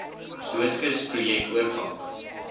doodskis projek oorpak